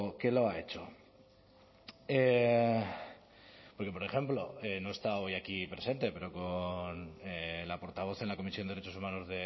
que lo ha hecho porque por ejemplo no está hoy aquí presente pero con la portavoz en la comisión de derechos humanos